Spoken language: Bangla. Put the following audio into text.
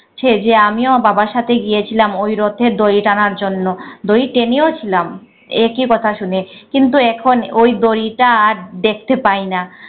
যে আমিও বাবার সাথে গিয়েছিলাম ওই রথের দড়ি টানার জন্য, দড়ি টেনেও ছিলাম একই কথা শুনে কিন্তু এখন ওই দড়িটা আর দেখতে পাই না।